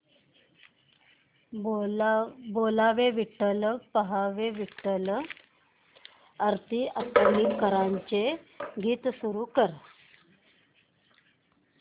बोलावा विठ्ठल पहावा विठ्ठल हे आरती अंकलीकरांचे गीत सुरू कर